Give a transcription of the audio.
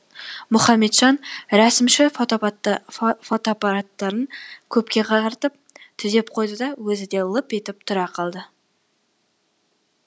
мұхаметжан рәсімші фотоаппараттарын көпке қаратып түзеп қойды да өзі де лып етіп тұра қалды